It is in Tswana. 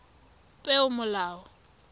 peomolao